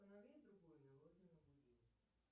установи другую мелодию на будильник